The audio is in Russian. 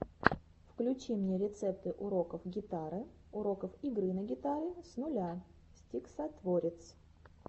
включи мне рецепты уроков гитары уроков игры на гитаре с нуля стиксатворец